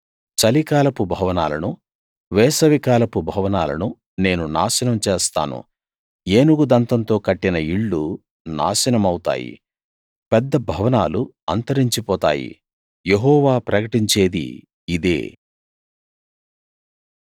చలికాలపు భవనాలనూ వేసవికాలపు భవనాలనూ నేను నాశనం చేస్తాను ఏనుగు దంతంతో కట్టిన ఇళ్ళు నాశనమవుతాయి పెద్ద భవనాలు అంతరించిపోతాయి యెహోవా ప్రకటించేది ఇదే